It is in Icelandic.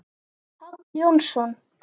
Páll Jónsson